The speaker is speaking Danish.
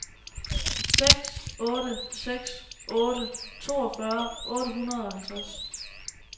seks otte seks otte toogfyrre otte hundrede og halvtreds